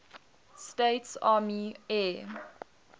states army air